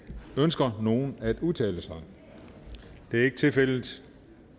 ønsker nogen at udtale sig det er ikke tilfældet